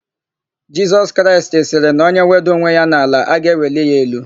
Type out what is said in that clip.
Jisọs Kraịst sịrị na onye wedaa onwe ya n'ala; a ga-eweli ya elu.